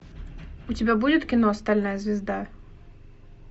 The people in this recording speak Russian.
у тебя будет кино стальная звезда